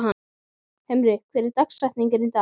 Himri, hver er dagsetningin í dag?